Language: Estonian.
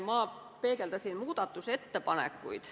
Ma peegeldasin muudatusettepanekuid.